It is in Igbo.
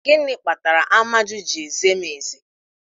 Gịnị kpatara Amaju ji eze m eze?